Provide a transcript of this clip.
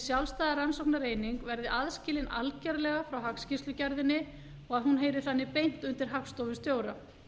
sjálfstæða rannsóknareining verði aðskilin algerlega frá hagskýrslugerðinni og að hún heyri þannig beint undir hagstofustjóra